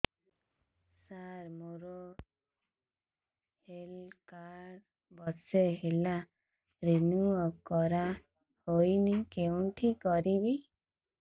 ସାର ମୋର health card ବର୍ଷେ ହେଲା ରିନିଓ କରା ହଉନି କଉଠି କରିବି